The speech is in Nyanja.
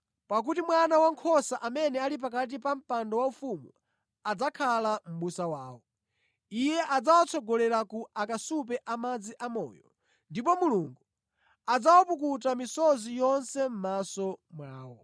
Pakuti Mwana Wankhosa amene ali pakati pa mpando waufumu adzakhala mʼbusa wawo. ‘Iye adzawatsogolera ku akasupe a madzi amoyo.’ ‘Ndipo Mulungu adzawapukuta misozi yonse mʼmaso mwawo.’ ”